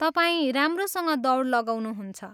तपाईँ राम्रोसँग दौड लगाउनुहुन्छ।